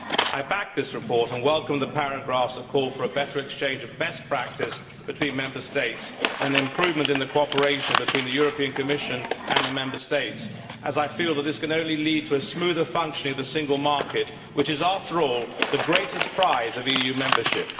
I backed this report and I welcome the paragraphs that call for a better exchange of best practice between Member States and an improvement in cooperation between the Commission and the Member States, as I feel that this can only lead to a smoother functioning of the single market, which is, after all, the greatest prize of EU membership.